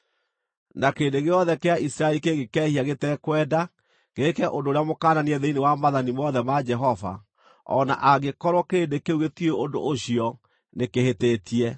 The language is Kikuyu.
“ ‘Na kĩrĩndĩ gĩothe kĩa Isiraeli kĩngĩkehia gĩtekwenda, gĩĩke ũndũ ũrĩa mũkananie thĩinĩ wa maathani mothe ma Jehova, o na angĩkorwo kĩrĩndĩ kĩu gĩtiũĩ ũndũ ũcio, nĩkĩhĩtĩtie.